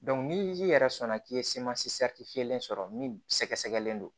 ni ji yɛrɛ sɔnna k'i ye fiyɛli sɔrɔ min sɛgɛsɛgɛlen don